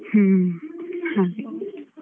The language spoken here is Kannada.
ಹ್ಮ್, ಹಾಗೆ.